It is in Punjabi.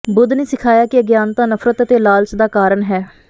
ਬੁੱਧ ਨੇ ਸਿਖਾਇਆ ਕਿ ਅਗਿਆਨਤਾ ਨਫ਼ਰਤ ਅਤੇ ਲਾਲਚ ਦਾ ਕਾਰਨ ਹੈ